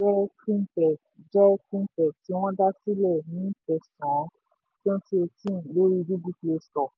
palmpay jẹ́ fintech jẹ́ fintech tí wọ́n dá sílẹ̀ ní kẹsàn-án cs] twenty eighteen lórí google play store